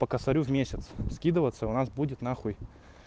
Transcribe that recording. по касарю в месяц скидываться у нас будет на хуй